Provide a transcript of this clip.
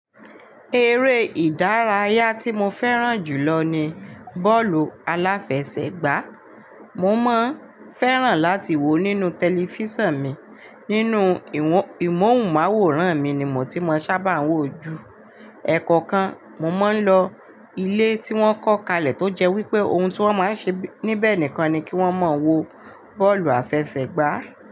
Eré ìdárayá tí mo fẹ́ràn jù lọ ni bọ́ọ̀lù aláfẹsẹ̀gbá. Mo máa ń fẹ́ràn láti wò ó nínú tẹlifísàn mi. Nínú ìmọ̀hùnmáwòrán mi ni mò tí mo sábà wò ó ju. Ẹ̀ẹ̀kọ̀kan mo máa ń lọ ilé tí wọ́n kọ́ kalẹ̀ tó jẹ́ wípé ohun tí wọ́n máa ń ṣe níbẹ̀ nìkan ni kí wón máa wo bọ́ọ̀lù àfẹsẹ̀gbá.